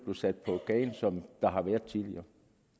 sat på gaden som der har været tidligere